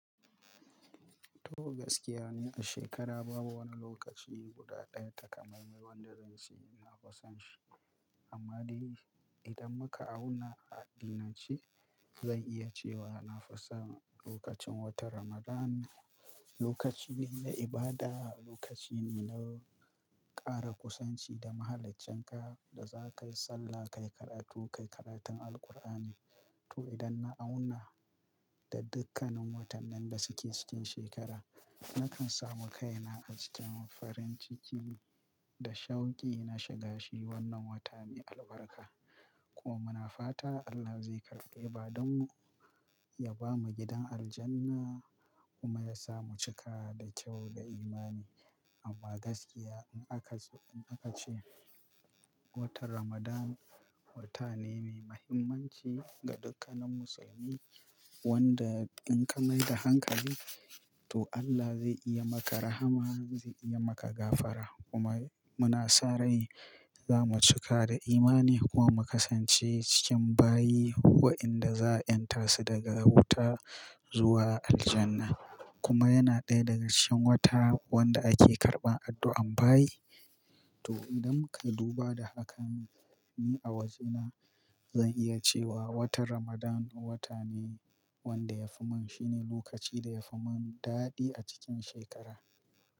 To gaskiya ni a shekara babu wani lokaci guda daya takamaiman da zan ce ina fusanshi. Amma dai idan muka auna a dinnan ce, zan iya cewa na fi son lokacin watan Ramadan ne. Lokaci ne na ibada, lokaci ne na ƙara kusanci da Mahaliccinka da za ka yi sallah, ka yi karatu, ka yi karatun Alkur'ani. To idan na auna da dukkanin watannin da suke cikin shekara, nakan samu kaina a cikin farin ciki da shauki na shiga shi. Wannan wata mai albarka kuma muna fata Allah zai karɓe, ba don ya ba mu gidan Aljanna kuma ya sa mu cika da kyau da imani. Amma gaskiya in aka, in aka ce watan Ramadan wata ne mai muhimmanci ga dukkanin musulmi wanda in ka mai da hankali to Allah zai iya maka rahama, zai iya maka gafara kuma muna san rai za mu cika da imani kuwa mu kasance cikin bayi wa inda za a 'yantar su daga wuta zuwa Aljanna. Kuma yana ɗaya daga cikin wata wanda ake karɓan addu'an bayi. To idan muka duba da hakan ne, ni a wajena, zan iya cewa watan Ramadan wata ne wanda ya fi mun, shi ne lokaci da ya fi mun daɗi a cikin shekara.